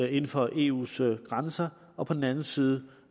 inden for eus grænser og på den anden side